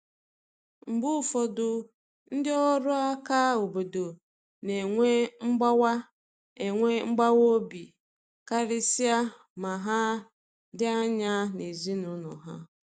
Mgbe ụfọdụ, ndị ọrụ aka obodo na enwe mgbawa enwe mgbawa obi, karịsịa ma ha dị anya n’ezinụlọ ha.